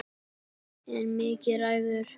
En Mikki ræður.